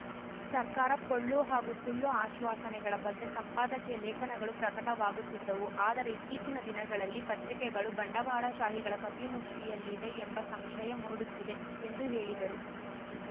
ಸರ್ಕಾರ ಪೊಳ್ಳು ಹಾಗೂ ಸುಳ್ಳು ಆಶ್ವಾನೆಗಳ ಬಗ್ಗೆ ಸಂಪಾದಕಿಯ ಲೇಖನಗಳು ಪ್ರಕಟವಾಗುತ್ತಿದ್ದವು ಆದರೆ ಇತ್ತೀಚಿನ ದಿನಗಳಲ್ಲಿ ಪತ್ರಿಕೆಗಳು ಬಂಡವಾಳ ಶಾಹಿಗಳ ಕಪಿಮುಷ್ಠಿಯಲ್ಲಿವೆ ಎಂಬ ಸಂಶಯ ಮೂಡುತ್ತಿದೆ ಎಂದು ಹೇಳಿದರು